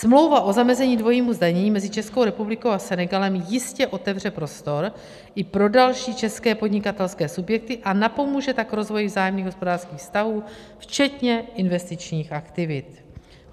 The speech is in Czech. Smlouva o zamezení dvojímu zdanění mezi Českou republikou a Senegalem jistě otevře prostor i pro další české podnikatelské subjekty, a napomůže tak rozvoji vzájemných hospodářských vztahů, včetně investičních aktivit.